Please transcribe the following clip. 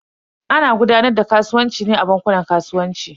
Ana gudanar da kasuwanci ne a bankunan kasuwanci.